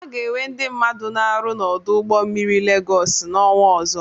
A ga-enwe ndị mmadu n'ọrụ n'ọdụ ụgbọ mmiri Legọsị n'ọnwa ọzọ.